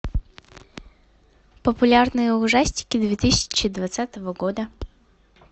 популярные ужастики две тысячи двадцатого года